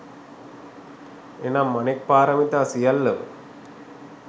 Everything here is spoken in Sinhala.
එනම් අනෙක් පාරමිතා සියල්ලම